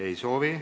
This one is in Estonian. Ei soovi.